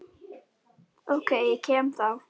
OK, ég kem þá!